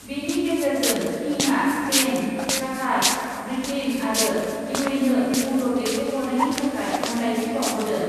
बेनि गेजेरजों किंआ स्पेन , काठार , ब्रिटेन आरो इउएइनो मदद दैथायहरनायनि थाखाय हामलायथि बाउहरदों ।